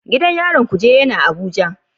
Gidan yarin Kuje yana Abuja.